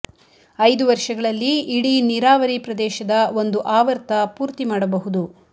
ಐದು ವರ್ಷಗಳಲ್ಲಿ ಇಡೀ ನೀರಾವರಿ ಪ್ರದೇಶದ ಒಂದು ಆವರ್ತ ಪೂರ್ತಿ ಮಾಡಬಹುದು